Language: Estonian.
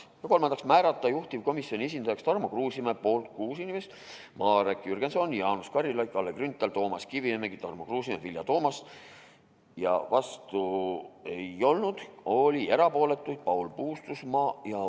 Kolmandaks, määrata juhtivkomisjoni esindajaks Tarmo Kruusimäe .